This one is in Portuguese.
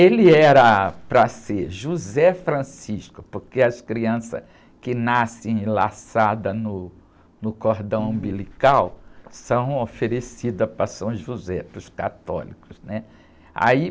Ele era para ser José Francisco, porque as crianças que nascem enlaçadas no, no cordão umbilical são oferecidas para São José, para os católicos.